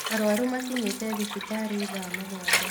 Arwaru makinyite thibitarĩthaa mũgwanja.